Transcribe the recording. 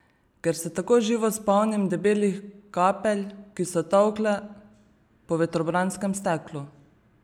Ker se tako živo spomnim debelih kapelj, ki so tolkle po vetrobranskem steklu.